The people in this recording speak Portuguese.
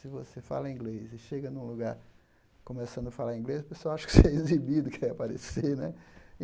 Se você fala inglês e chega num lugar começando a falar inglês, o pessoal acha que você é exibido, quer aparecer né.